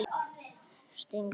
Stingir fram í ennið.